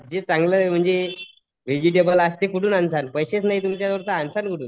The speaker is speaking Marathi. जे चांगलं म्हणजे व्हेजिटेबल असते कुठून आनचाल? पैसेच नसले तुमच्याकडे तर आनचाल कुठून?